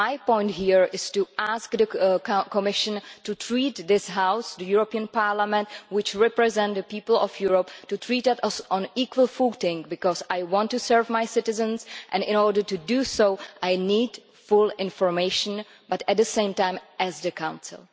My point here is to ask the Commission to treat this House, the European Parliament which represents the people of Europe to treat us on an equal footing, because I want to serve my citizens and in order to do so I need full information, but at the same time as the Council.